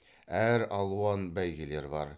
әр алуан бәйгелер бар